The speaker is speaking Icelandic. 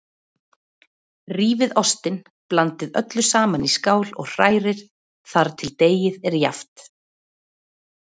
Rífið ostinn, blandið öllu saman í skál og hrærið þar til deigið er jafnt.